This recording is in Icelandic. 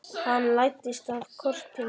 Hann læddist að kortinu.